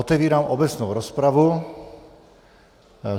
Otevírám obecnou rozpravu.